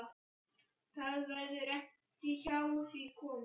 Það verður ekki hjá því komist.